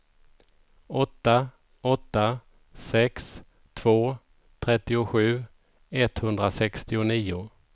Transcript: åtta åtta sex två trettiosju etthundrasextionio